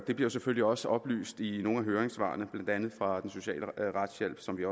det bliver selvfølgelig også oplyst i nogle af høringssvarene blandt andet fra den sociale retshjælp som vi